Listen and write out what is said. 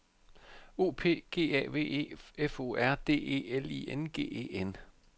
O P G A V E F O R D E L I N G E N